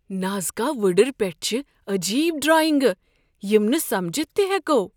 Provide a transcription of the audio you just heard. Nazca وٕڈٕر پیٹھ چھ عجیب ڈراینگہٕ یم نہٕ سمجھِتھ تہِ ہیكو۔